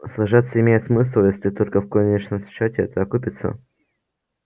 сражаться имеет смысл если только в конечном счёте это окупится